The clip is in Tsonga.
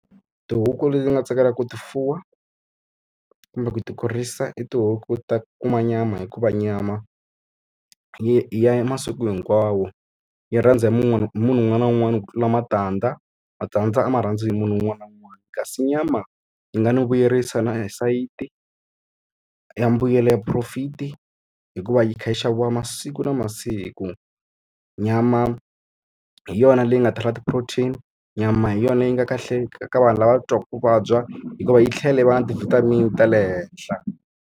Tihuku leti ti nga tsakelaka ku ti fuwa kumbe ku ti kurisa i tihuku ta kuma nyama hikuva nyama, yi ya masiku hinkwawo. Yi rhandza hi munhu un'wana na un'wana ku tlula matandza. Matandza a ma rhandzi hi munhu un'wana na un'wana, kasi nyama yi nga no vuyerisa na hi sayiti ya mbuyelo ya profit-i hikuva yi kha yi xaviwa masiku na masiku. Nyama hi yona leyi nga ta rila ti-protein, nyama hi yona yi nga kahle ka vanhu lava twaka ku vabya, hikuva yi tlhela yi va na ti-vitamin ta le henhla.